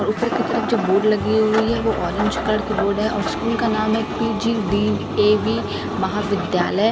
और ऊपर की तरफ जो बोर्ड लगी हुई है वो ऑरेंज कलर की बोर्ड है और स्कूल का नाम है पी_जी_डी_ए_वी महाविद्यालय--